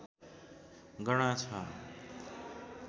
गणना छ